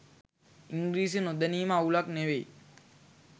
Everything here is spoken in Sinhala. ඉංග්‍රීසි නොදැනීම අවුලක් නෙවෙයි